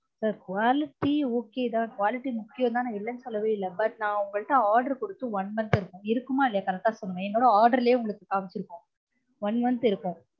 sir quality okay தான் quality முக்கியம் தான் நான் இல்லனு சொல்லவே இல்ல but நான் உங்க கிட்ட order கொடுத்து one month இருக்கும் இருக்குமா இல்லயா correct அ சொல்லுங்க, என்னோட order லயே உங்களுக்கு காமிச்சுருக்கும் one month இருக்கும்